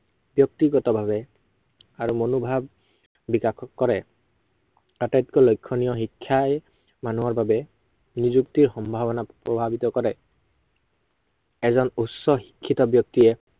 ব্য়ক্তিগত ভাৱে আৰু মনোভাৱ বিকাশ কৰে। আতাইটকৈ লক্ষণীয়া, শিক্ষাই মানুহৰ বাবে নিযুক্তিৰ সম্ভাৱনাত প্ৰভাৱিত কৰে। এজন উচ্চ শিক্ষিত ব্য়ক্তিয়ে